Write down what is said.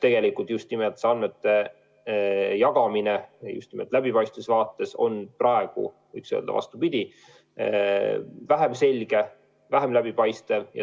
Tegelikult aga on andmete jagamine just nimelt läbipaistvuse vaates praegu, võiks öelda, vähem selge, vähem läbipaistev.